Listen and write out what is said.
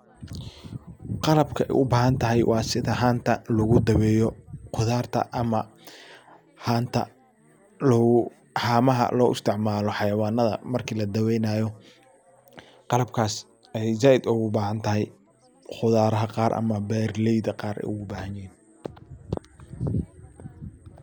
Qalabka ay u bahantahy waa sida hanta lagu daaweyo qudarta ama hanta lagu haamaha loo isticmaalo xayawanada marki la daaweynayo qalabkas ayay zaiid ugu bahanatahy qudaraha qaar ama beeralayda qaar ayay ogu bahanyihiin.